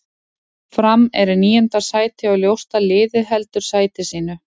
Fram er í níunda sæti og ljóst að liðið heldur sæti sínu.